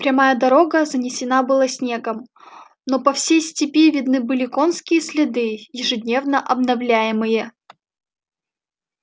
прямая дорога занесена была снегом но по всей степи видны были конские следы ежедневно обновляемые